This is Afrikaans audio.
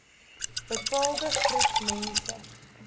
bepaalde groep mense